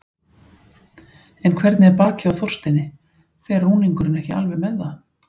En hvernig er bakið á Þorsteini, fer rúningurinn ekki alveg með það?